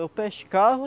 Eu pescava,